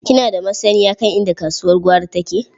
Kina da masanniya kan inda kasuwar gwari take?